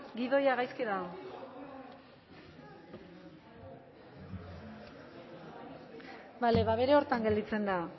dago gidoia gaizki dago bale ba bere horretan gelditzen da